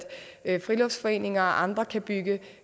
at friluftsforeninger og andre kan bygge